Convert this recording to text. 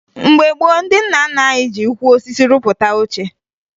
Mgbe gboo, ndị nna nna anyị ji ukwu osisi rupụta oche